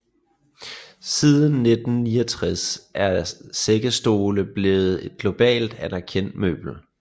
Siden 1969 er sækkestole blevet et globalt anerkendt møbel